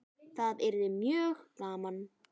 Það yrði mjög gaman.